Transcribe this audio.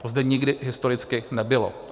To zde nikdy historicky nebylo.